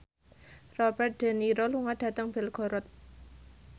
Robert de Niro lunga dhateng Belgorod